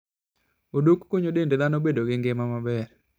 Odok konyo dend dhano bedo gi ngima maber.